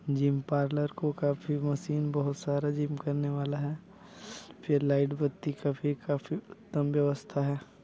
Gym parlour को काफी machine बहुत सारा जिम करने वाला हैं फिर लाइट बत्ती का का भी काफी उत्तम व्यवस्था हैं।